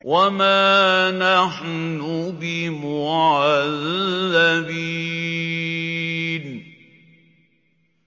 وَمَا نَحْنُ بِمُعَذَّبِينَ